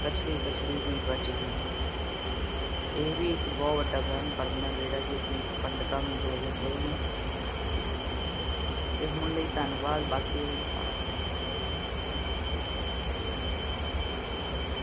ਕੜਛੀ-ਕੜਛੀ ਹੀ ਬੱਚਦੀ। ਇਹ ਵੀ ਇਕ ਬਹੁਤ ਵੱਡਾ ਵਹਿਮ ਭਰਮ ਹੈ ਜਿਹੜੇ ਕਿ ਅਸੀਂ ਪੰਡਿਤਾਂ ਨੂੰ ਦੇ ਦਿੰਦੇ ਨੇ। ਤੇ ਹੁਣ ਲਈ ਧੰਨਵਾਦ ਤੇ ਬਾਕੀ ਦੀਆਂ ਗੱਲਾਂ ਬਾਅਦ ਚ।